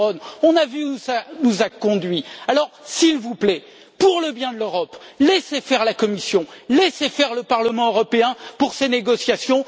Cameron, et nous avons vu où cela nous a conduits. Alors, s'il vous plaît, pour le bien de l'Europe, laissez faire la Commission, laissez faire le Parlement européen pour ces négociations.